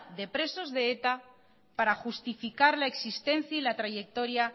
de presos de eta para justificar la existencia y la trayectoria